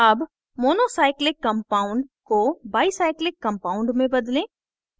अब monocyclic compound को bicyclic compound में बदलें